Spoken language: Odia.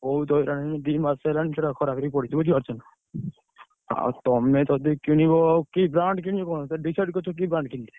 ବହୁତ୍ ହଇରାଣ ହେଲି। ଦି ମାସ ହେଲାଣି ସେଇଟା ଖରାପ ହେଇ ପଡିଛି ବୁଝିପାରୁଛନା। ଆଉ ତମେ ଯଦି କିଣିବ କି brand କିଣିବ କଣ decide କରିଛ କି brand କିଣିବ?